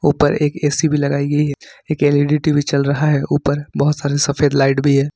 ऊपर एक ए_सी भी लगाई गई है एक एल_ई_डी टी_वी चल रहा है ऊपर बहुत सारे सफेद लाइट भी है।